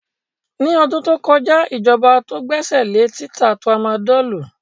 Ní ọdún tó kọja ijọba tó gbèsèlé títa tramadọlù.